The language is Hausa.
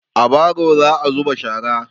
A baro za'a zuba shara.